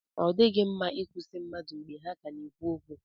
Ọ dịghị mma ị kwụsị mmadụ mgbe ha ka na-ekwu okwu.